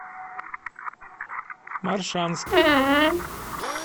моршанск